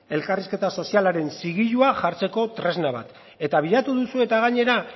elkarrizketa sozialaren zigilua jartzeko tresna bat eta bilatu duzue eta gainera